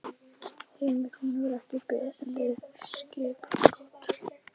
Heimir: Hún hefur ekki beðið skipbrot?